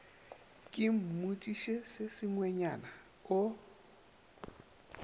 ke mmotšiše se sengwenyana o